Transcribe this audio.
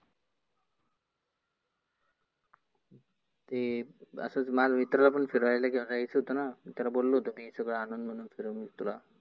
ते असच माझ्या मित्राला पण फिरायला घेऊन यायचं होतंंना त्याला बोललो होतो मी सगळ आणुन मग फिरवेन तुला.